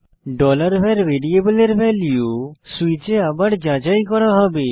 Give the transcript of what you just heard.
var ভ্যারিয়েবলের value সুইচে আবার যাচাই করা হবে